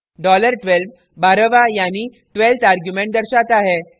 dollar 12 बारहवाँ यानी twelfth argument दर्शाता है